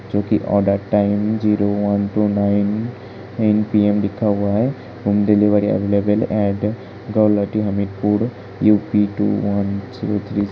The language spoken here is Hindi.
जो कि order time zero one two nine P M लिखा हुआ है | delivery available at Hamirpur U. P. Two one zero three --